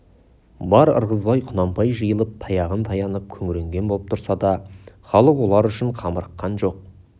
бар ырғызбай құнанбай жиылып таяғын таянып күңіренген боп тұрса да халық олар үшін қамырыққан жоқ